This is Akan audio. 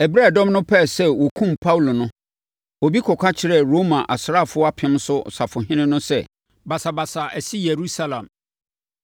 Ɛberɛ a ɛdɔm no pɛɛ sɛ wɔkum Paulo no, obi kɔka kyerɛɛ Roma asraafoɔ apem so safohene no sɛ, basabasa asi Yerusalem.